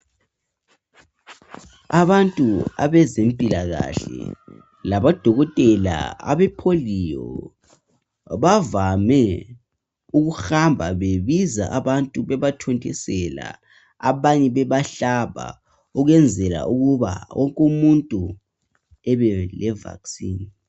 Abantu abezempikahle labo dokotela Abe polio bavame ukuhamba bebiza abantu bebathontisela abanye bebahlaba ukwenzela ukuthi wonke umuntu abele vaccine.